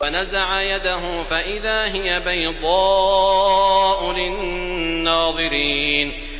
وَنَزَعَ يَدَهُ فَإِذَا هِيَ بَيْضَاءُ لِلنَّاظِرِينَ